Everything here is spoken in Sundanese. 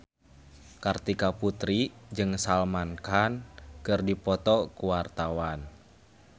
Kartika Putri jeung Salman Khan keur dipoto ku wartawan